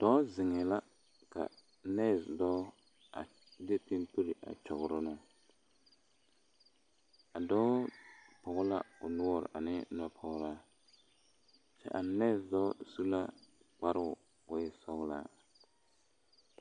Dɔɔ zeŋɛɛ la ka nɛɛse dɔɔ a de pimpiri a kyɔgrɔ ne o a dɔɔ pɔge la o noɔre a ne nɔpɔgeraa kyɛ a nɛɛse dɔɔ su la a nɛɛse dɔɔ su la kparoo k'o e sɔglɔ.